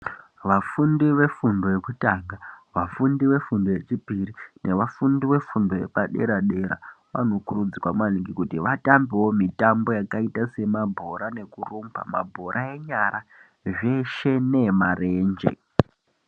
Vafundi vefundo yekutanga, vafundi vefundo yechipiri nevafundi vefundo yepadera-dera anokurudzirwa maningi kuti vatambewo mitambo yakaita semabhora nekurumba, mabhora enyara zveshe neemarenje.